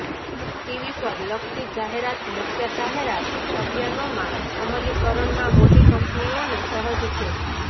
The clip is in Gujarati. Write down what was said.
ટીવી પર લક્ષિત જાહેરાત મુખ્ય જાહેરાત અભિયાનોમાં અમલીકરણમાં મોટી કંપનીઓને સહજ છે